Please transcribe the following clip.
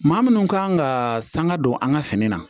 Maa minnu kan ka sanga don an ka fini na